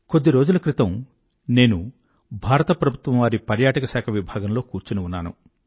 కొద్ది రోజుల క్రితం నేను భారత ప్రభుత్వం వారి పర్యాటక శాఖా విభాగంలో కూర్చుని ఉన్నాను